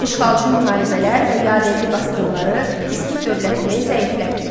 İşğalçı müharibələr və yadelli basqınları Skit dövlətini zəiflətdi.